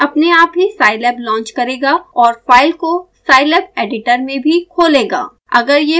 यह अपने आप ही scilab लॉन्च करेगा और फाइल को scilab एडिटर में भी खोलेगा